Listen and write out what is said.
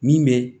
Min bɛ